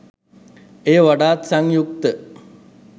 එය වඩාත් සංයුක්ත